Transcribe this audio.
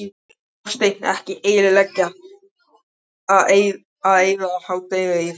Hafsteinn: Ekkert leiðilegt að eyða jóladeginum í þetta?